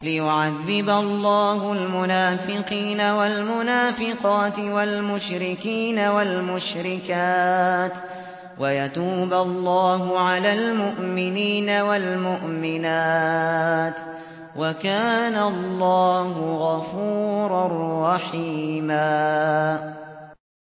لِّيُعَذِّبَ اللَّهُ الْمُنَافِقِينَ وَالْمُنَافِقَاتِ وَالْمُشْرِكِينَ وَالْمُشْرِكَاتِ وَيَتُوبَ اللَّهُ عَلَى الْمُؤْمِنِينَ وَالْمُؤْمِنَاتِ ۗ وَكَانَ اللَّهُ غَفُورًا رَّحِيمًا